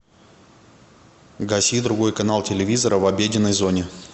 гаси другой канал телевизора в обеденной зоне